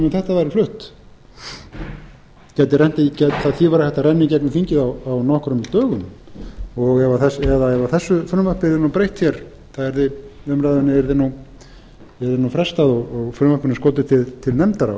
um þetta væri flutt því væri hægt að renna í gegn um þingið á nokkrum dögum ef þessu frumvarpi yrði nú breytt hér umræðunni yrði frestað og frumvarpinu skotið til nefndar